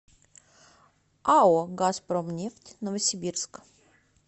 ао газпромнефть новосибирск